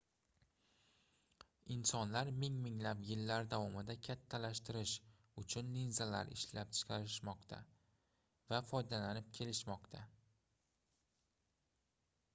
insonlar ming-minglab yillar davomida kattalashtirish uchun linzalar ishlab chiqarishmoqda va foydalanib kelishmoqda